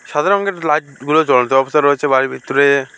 সাদা রঙের লাইট -গুলো জ্বল জ্বলন্ত অবস্থায় রয়েছে বাড়ির ভিতরে।